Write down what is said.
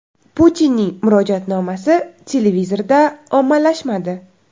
Putinning murojaatnomasi TVda ommalashmadi.